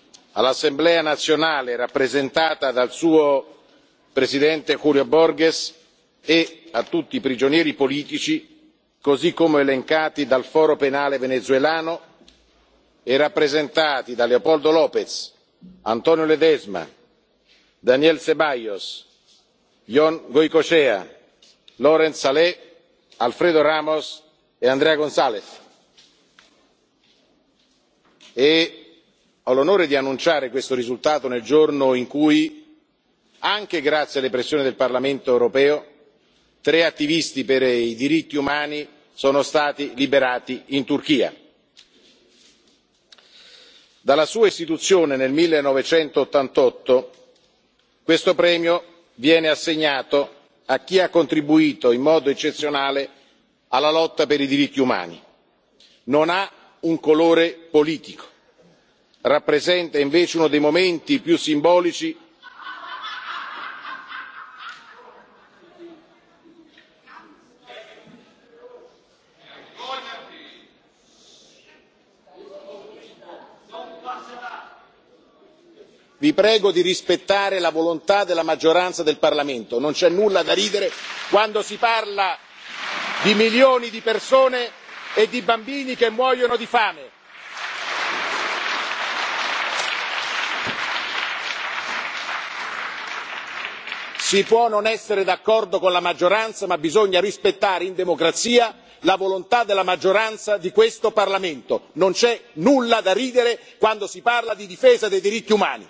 Venezuela, all'Assemblea nazionale rappresentata dal suo presidente Julio Borges e a tutti i prigionieri politici, così come elencati dal Foro penale venezuelano e rappresentati da Leopoldo López, Antonio Ledezma, Daniel Ceballos, Yon Goicoechea, Lorent Saleh, Alfredo Ramos e Andrea González. Ho l'onore di annunciare questo risultato nel giorno in cui, anche grazie alle pressioni del Parlamento europeo, tre attivisti per i diritti umani sono stati liberati in Turchia. Dalla sua istituzione nel 1988 questo premio viene assegnato a chi ha contribuito in modo eccezionale alla lotta per i diritti umani. Non ha un colore politico, rappresenta invece uno dei momenti più simbolici... Vi prego di rispettare la volontà della maggioranza del Parlamento, non c'è nulla da ridere quando si parla di milioni di persone e di bambini che muoiono di fame! Si può non essere d'accordo con la maggioranza, ma bisogna rispettare, in democrazia, la volontà della maggioranza di questo Parlamento. Non c'è nulla da ridere quando si parla di difesa dei diritti umani!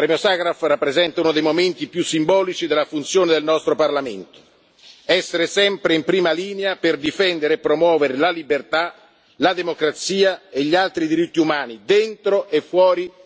Il premio Sacharov rappresenta uno dei momenti più simbolici della funzione del nostro Parlamento essere sempre in prima linea per difendere e promuovere la libertà, la democrazia e gli altri diritti umani, dentro